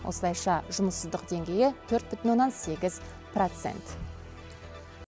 осылайша жұмыссыздық деңгейі төрт бүтін оннан сегіз процент